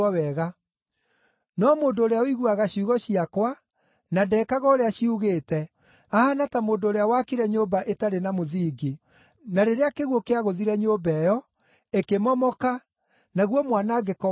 No mũndũ ũrĩa ũiguaga ciugo ciakwa, na ndekaga ũrĩa ciugĩte, ahaana ta mũndũ ũrĩa waakire nyũmba ĩtarĩ na mũthingi. Na rĩrĩa kĩguũ kĩagũthire nyũmba ĩyo, ĩkĩmomoka, naguo mwanangĩko wayo warĩ mũnene.”